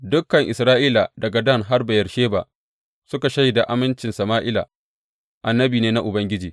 Dukan Isra’ila daga Dan har Beyersheba suka shaida amincin Sama’ila annabi ne na Ubangiji.